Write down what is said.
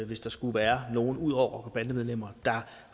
hvis der skulle være nogen ud over rockere og bandemedlemmer der